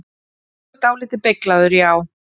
Þú ert dáldið beyglaður, já.